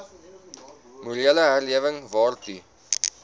morele herlewing waartoe